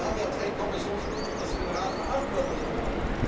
Wir haben jetzt ein Kommissionsmitglied, das für den Rat verantwortlich war.